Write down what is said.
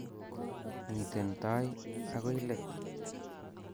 miten tai ago leet